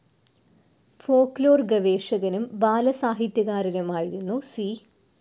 Folklore ഗവേഷകനും ബാലസാഹിത്യകാരനുമായിരുന്നു C.